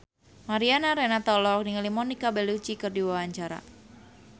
Mariana Renata olohok ningali Monica Belluci keur diwawancara